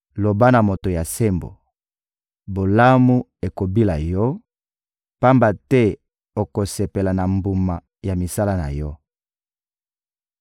Loba na moto ya sembo: «Bolamu ekobila yo, pamba te okosepela na mbuma ya misala na yo.»